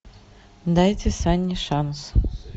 дайте санни шанс